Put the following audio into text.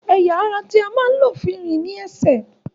Ẹ̀ya ará tí a máa ń lò láti fi rìn ní ẹsẹ̀